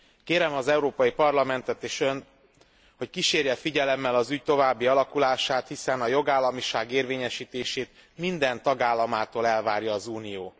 Kérem az Európai Parlamentet és Önt, hogy kísérje figyelemmel az ügy további alakulását, hiszen a jogállamiság érvényesítését minden tagállamától elvárja az Unió.